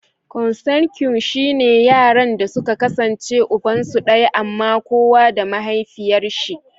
"Consanguine" shine yaranda suka kasance ubansu daya amma kowa da mahaifiyarshi.